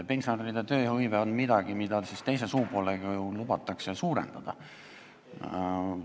Pensionäride tööhõive on midagi, mida teise suupoolega ju lubatakse suurendada.